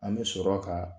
An bɛ sɔrɔ ka